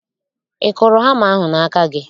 Ị kụrụ hama ahụ n'aka gị?